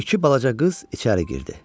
İki balaca qız içəri girdi.